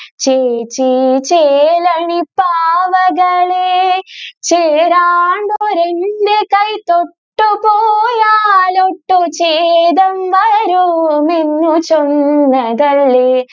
ചെ ചെ ചെലനു പാവകളെ, ചേരാണ്ടൊരു എൻ്റെ കൈ തൊട്ടുപോയാൽ ഒട്ടു ചേതം ചൊന്നതല്ലേ